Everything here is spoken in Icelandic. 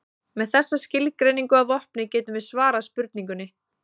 Með þessa skilgreiningu að vopni getum við svarað spurningunni.